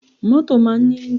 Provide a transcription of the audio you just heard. Mọ́tò máa ń ní enjii.